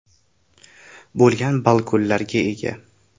bo‘lgan balkonlarga ega!